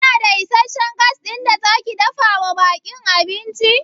Kina da isasshen Gas ɗin da zaki dafawa ɓakin abinci?